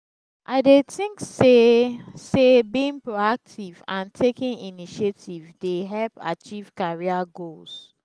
i dey think say say being proactive and taking initiative dey help achieve career goals.